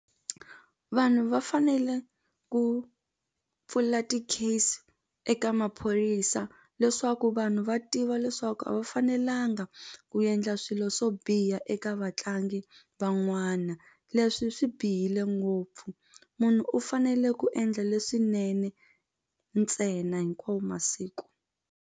Vanhu va fanele ku pfula ti-case eka maphorisa leswaku vanhu va tiva leswaku a va fanelanga ku endla swilo swo biha eka vatlangi van'wana leswi swi bihile ngopfu munhu u fanele ku endla leswinene ntsena hinkwawo masiku.